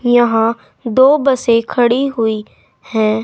यहां दो बसें खड़ी हुई हैं।